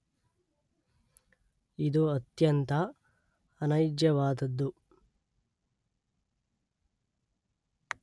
ಇದು ಅತ್ಯಂತ ಅನೈಜವಾದದ್ದು